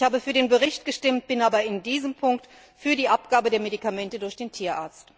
Ich habe für den Bericht gestimmt, bin aber in diesem Punkt für die Abgabe der Medikamente durch den Tierarzt.